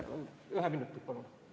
Ühe minuti palun!